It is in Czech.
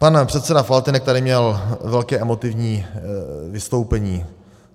Pan předseda Faltýnek tady měl velké emotivní vystoupení.